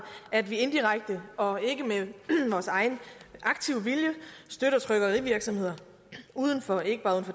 at vi indirekte og ikke af egen aktiv vilje støtter trykkerivirksomheder uden for ikke bare